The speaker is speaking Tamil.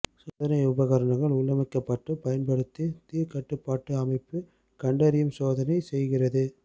சோதனை உபகரணங்கள் உள்ளமைக்கப்பட்ட பயன்படுத்தி தீ கட்டுப்பாட்டு அமைப்பு கண்டறியும் சோதனை செய்கிறது